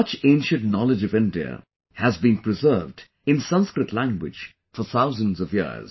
Much ancient knowledge of India has been preserved in Sanskrit language for thousands of years